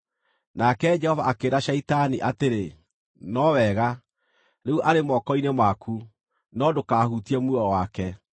Nake Jehova akĩĩra Shaitani atĩrĩ, “No wega, rĩu arĩ moko-inĩ maku; no ndũkahutie muoyo wake.”